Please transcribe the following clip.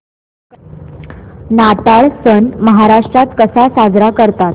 नाताळ सण महाराष्ट्रात कसा साजरा करतात